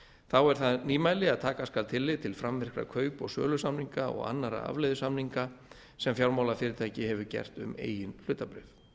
þá er það nýmæli að taka skal tillit til framvirkra kaup og sölusamninga og annarra afleiðusamninga sem fjármálafyrirtæki hefur gert um eigin hlutabréf